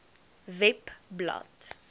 webblad